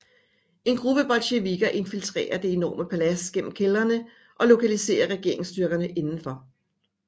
En gruppe bolsjevikker infiltrerer det enorme palads gennem kældrene og lokaliserer regeringsstyrkerne indenfor